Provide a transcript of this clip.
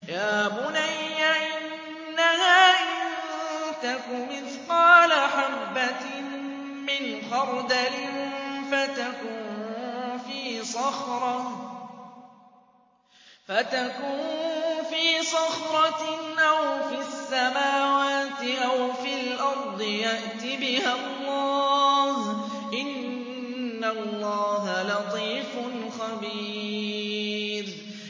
يَا بُنَيَّ إِنَّهَا إِن تَكُ مِثْقَالَ حَبَّةٍ مِّنْ خَرْدَلٍ فَتَكُن فِي صَخْرَةٍ أَوْ فِي السَّمَاوَاتِ أَوْ فِي الْأَرْضِ يَأْتِ بِهَا اللَّهُ ۚ إِنَّ اللَّهَ لَطِيفٌ خَبِيرٌ